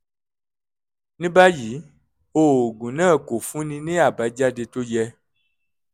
ní báyìí oògùn náà kò fúnni ní àbájáde tó yẹ